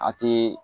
A te